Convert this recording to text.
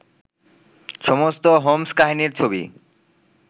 সমস্ত হোম্স্-কাহিনীর ছবি